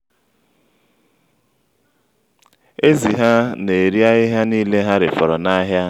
ezi ha na-eri ahịhịa niile ha refọrọ́ n'ahia